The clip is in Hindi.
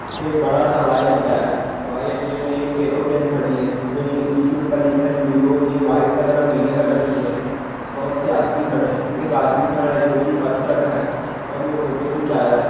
एक बड़ा-सा हवाई अड्डा है| हवाई अड्डे में एक एरोप्लेन खड़ी है जो इस के ऊपर लिखा है इंडिगो | ये व्हाइट कलर और नीले कलर की है| बहुत से आदमी खड़े हैं| एक आदमी खड़ा है जो कि पर्स रखा है और वो फोटो खिचा रहा है ।